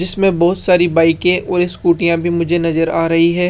जिसमें बहुत सारी बाइके और स्कूटीयां भी मुझे नजर आ रही है।